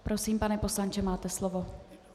Prosím, pane poslanče, máte slovo.